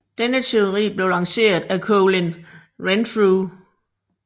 Denne teori blev lanceret af Colin Renfrew